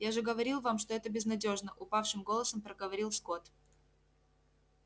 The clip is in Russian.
я же говорил вам что это безнадёжно упавшим голосом проговорил скотт